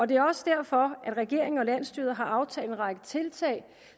det er også derfor regeringen og landsstyret har aftalt en række tiltag